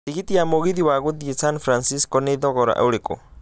tigiti wa mũgithi wa gũthiĩsan francisco nĩ thogora ũrĩkũ